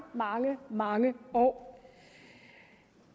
mange mange år